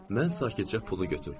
Mən sakitcə pulu götürdüm.